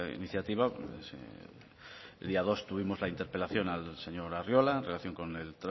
iniciativa el día dos tuvimos la interpelación al señor arriola en relación con el